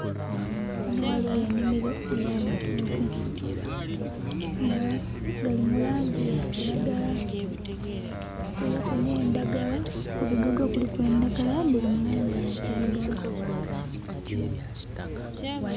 Ghano ghaligho enhimiro eya matooke nga gali mu langi ya kilagala kuliku ne ndhagala, ku bigogo kuliku endhagala dhili mu langi eya kilagala.